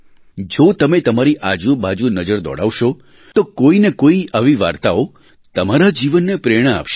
જો તમે તમારી આજુબાજુ નજર દોડાવશો તો કોઈ ને કોઈ આવી વાર્તાઓ તમારા જીવનને પ્રેરણા આપશે